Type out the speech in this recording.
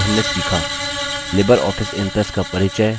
Libre office impress का परिचय